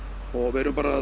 við erum bara